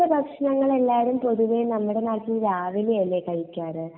ഇങ്ങനത്തെ ഭക്ഷണങ്ങൾ എല്ലാരും പൊതുവേ നമ്മടെ നാട്ടിൽ രാവിലെ അല്ലെ കഴിക്കാറു